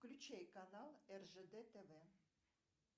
включай канал ржд тв